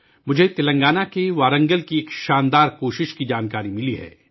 مجھے تلنگانہ کے وارنگل سے ایک عظیم کوشش کا علم ہوا ہے